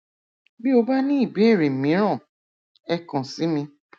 bí o bá ní ìbéèrè mìíràn ẹ kàn sí mi